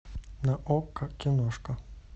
на окко киношка